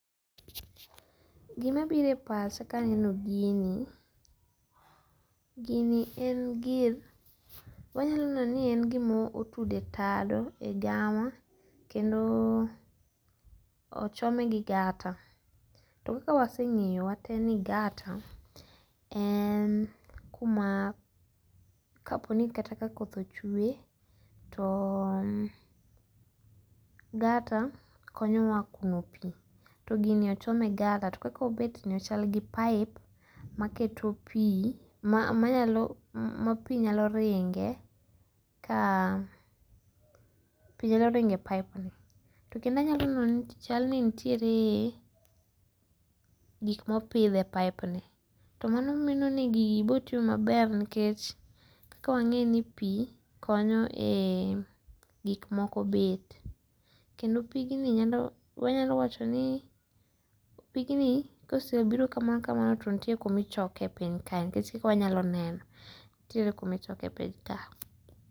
Gima biro e pacha ka aneno gini. Gini en gir wanyalo neno ni en gima otud e tado e gama kendo ochome gi gata. To waseng'eyo wate ni gata en kuma kaponi kata ka koth ochwe to gata konyowa kuno pi. To gini ochom e gata to kakaobet ni ochal gi pipe maketo pi maanyalo ma pi nyalo ringe ka pi nyalo ringe pipe ni. To kendo anyalo neno ni chal ni nitiere gik mopidhi e pipe ni. To mano neno ni gigi biro timo maber nikech ka wang'e ni pi konyo e gik moko bet. Kendo pigni wanyalo wacho ni pigni kosebiro kama kama to nitie kuma ichoke e piny ka nikech e kaka wanyalo neno nitiere kumichoke piny ka.